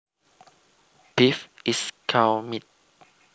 Beef is cow meat